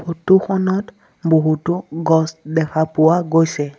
Photo খনত বহুতো গছ দেখা পোৱা গৈছে।